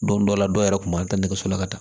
Don dɔ la dɔ yɛrɛ kun b'a ta nɛgɛso la ka taa